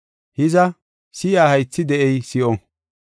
Hiza, si7iya haythi de7ey si7o.